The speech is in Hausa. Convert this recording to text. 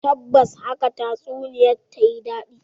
Tabbas haka tatsuniyar ta yi dadi.